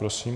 Prosím.